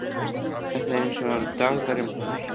Þetta er eins og í dagdraumunum hennar.